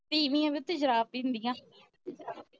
ਤੀਵੀਆਂ ਵੀ ਓਥੇ ਸ਼ਰਾਬ ਪੀਂਦੀਆਂ